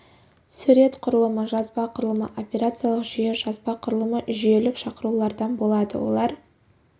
сурет құрылымы жазба құрылымы операциялық жүйе жазба құрылымы жүйелік шақырулардың болады олар